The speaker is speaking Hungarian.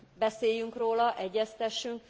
Beszéljünk róla, egyeztessünk.